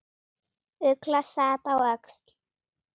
Ugla sat á öxl.